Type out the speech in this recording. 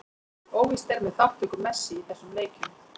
Óvíst er með þátttöku Messi í þessum leikjum.